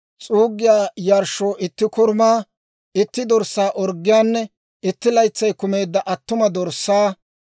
s'uuggiyaa yarshshoo itti korumaa, itti dorssaa orggiyaanne itti laytsay kumeedda attuma dorssaa;